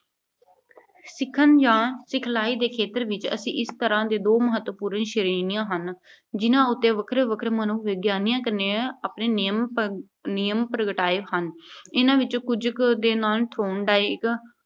ਸਿੱਖਣ ਜਾਂ ਸਿਖਲਾਈ ਦੇ ਖੇਤਰ ਵਿੱਚ ਅਸੀਂ ਇੱਕ ਤਰ੍ਹਾਂ ਦੇ, ਦੋ ਮਹੱਤਵਪੂਰਨ ਸ਼੍ਰੇਣੀਆਂ ਹਨ, ਜਿਨ੍ਹਾਂ ਉੱਤੇ ਵੱਖਰੇ-ਵੱਖਰੇ ਮਨੋਵਿਗਿਆਨਿਕਾਂ ਨੇ ਆਪਣੇ ਨਿਯਮ, ਪ੍ਰਗ ਅਹ ਪ੍ਰਗਟਾਏ ਹਨ। ਇਨ੍ਹਾਂ ਵਿੱਚੋਂ ਕੁਝ ਕੁ ਦੇ ਨਾਂਅ Thorndike